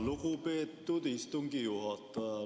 Lugupeetud istungi juhataja!